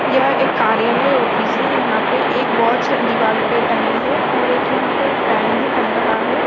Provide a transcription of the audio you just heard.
यह एक कार्यालय ऑफिस है यहाँ पे एक वॉच दीवार पे टंगी है और एक यहा पे फॅन भी टंग रहा है।